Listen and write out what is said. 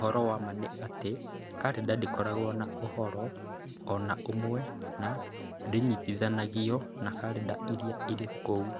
Ũhoro wa ma nĩ atĩ, karenda ndĩkoragwo na ũhoro o na ũmwe na ndĩnyitithanagio na karenda ĩrĩa ĩrĩ kuo.